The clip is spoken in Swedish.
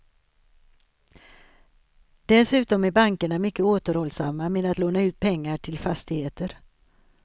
Dessutom är bankerna mycket återhållsamma med att låna ut pengar till fastigheter.